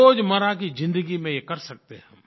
रोज़मर्रा की ज़िन्दगी में ये कर सकते हैं हम